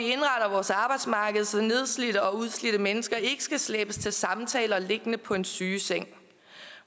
vores arbejdsmarked så nedslidte og udslidte mennesker ikke skal slæbes til samtaler liggende på en sygeseng